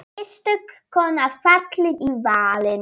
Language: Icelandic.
Einstök kona fallin í valinn.